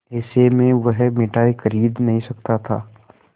ऐसे में वह मिठाई खरीद नहीं सकता था